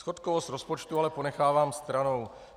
Schodkovost rozpočtu ale ponechávám stranou.